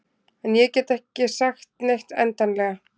En ég get ekki sagt neitt endanlega.